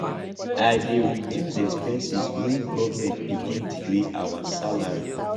i dey reduce expenses wen government begin delay our salary